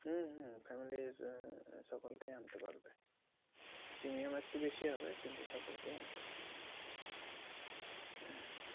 হুম হুম family এর সকলকে আনতে পারবে। premium একটু বেশি হবে, কিন্তু সকলকেই আনতে পারবে